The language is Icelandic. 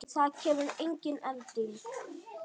Það kemur engin elding.